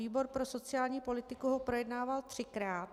Výbor pro sociální politiku ho projednával třikrát.